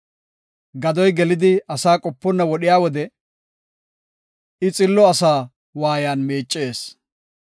Gadoy gelidi asaa qoponna wodhiya wode, I xillo asaa waayan miicees.